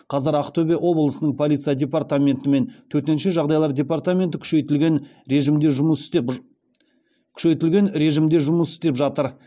қазір ақтөбе облысының полиция департаменті мен төтенше жағдайлар департаменті күшейтілген режімде жұмыс істеп жатыр